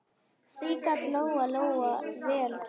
Því gat Lóa-Lóa vel trúað.